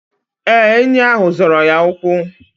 Ee, enyi ahụ zọrọ ya ụkwụ.